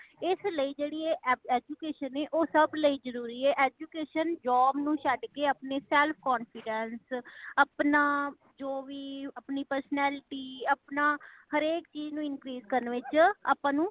ਇਸ ਲਈ ਜੇੜੀ ਇਹ education ਏ ਉਹ ਸਬ ਲਈ ਜਰੂਰੀ ਹੈ। education job ਨੂੰ ਛੱਡ ਕੇ ਅਪਣਾ self confidence ਆਪਣਾ ਜੋਵੀ ਆਪਣੀ personality , ਅਪਣਾ ਹਰ ਏਕ ਚੀਜ ਨੂੰ increase ਕਰਨ ਵਿਚ ਆਪ ਨੂੰ